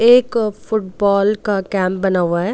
एक फुटबाल का केम्प बना हुआ है।